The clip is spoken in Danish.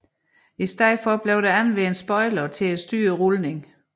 I stedet blev der anvendt spoilere til at styre rulning